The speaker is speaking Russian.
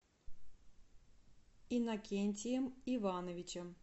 иннокентием ивановичем